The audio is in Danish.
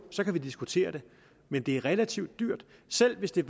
så kan vi diskutere det men det er relativt dyrt selv hvis der